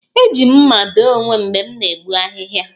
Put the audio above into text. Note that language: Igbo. Eji m mma bee onwe m mgbe m na-egbu ahịhịa